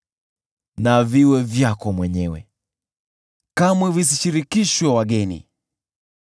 Na viwe vyako mwenyewe, kamwe visishirikishwe wageni.